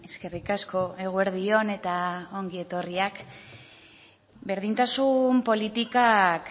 eskerrik asko eguerdi on eta ongi etorriak berdintasun politikak